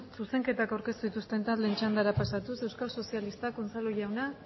zuzenketak aurkeztu dituzten taldeen txandara pasatuz euskal sozialistak unzalu jauna